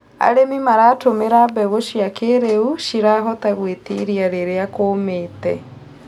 Arĩmi maratumĩra mbegũ cia kĩrĩu cirahota gwĩtiiria rĩrĩa kũmĩte